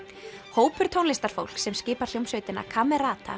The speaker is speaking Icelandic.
hópur tónlistarfólks sem skipar hljómsveitina